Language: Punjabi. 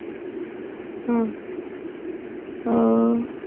ਹਮ ਹਾ